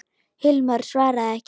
Hilmar svaraði ekki.